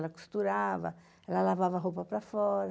Ela costurava, ela lavava roupa para fora.